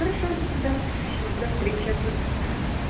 хорошо да всё до встречи ага